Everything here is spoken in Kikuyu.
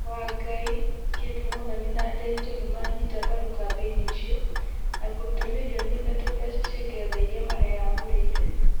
Wangai, Kate Muthoni na Ndiritu nimanyita mbaru kambeini icio, na kũruta mĩrioni ĩthatũ mbeca cia ngeretha iria mareyamũrĩire